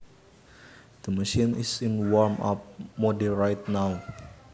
The machine is in warm up mode right now